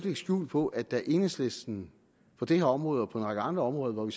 skjul på at da enhedslisten på det her område og på en række andre områder hvor vi